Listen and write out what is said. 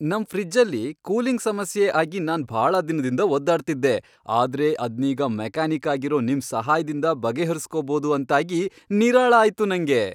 ನಮ್ ಫ್ರಿಜ್ಜಲ್ಲಿ ಕೂಲಿಂಗ್ ಸಮಸ್ಯೆ ಆಗಿ ನಾನ್ ಭಾಳ ದಿನದಿಂದ ಒದ್ದಾಡ್ತಿದ್ದೆ, ಆದ್ರೆ ಅದ್ನೀಗ ಮೆಕಾನಿಕ್ ಆಗಿರೋ ನಿಮ್ ಸಹಾಯ್ದಿಂದ ಬಗೆಹರಿಸ್ಕೋಬೋದು ಅಂತಾಗಿ ನಿರಾಳ ಆಯ್ತು ನಂಗೆ.